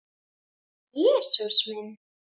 Jesús minn.